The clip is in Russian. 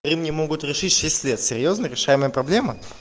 ремни могут решить в шесть лет серьёзно решаемая проблема